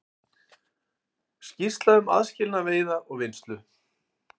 Skýrsla um aðskilnað veiða og vinnslu